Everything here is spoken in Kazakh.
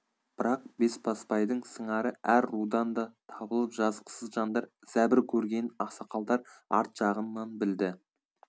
бірақ бесбасбайдың сыңары әр рудан да табылып жазықсыз жандар зәбір көргенін ақсақалдар арт жағынан білді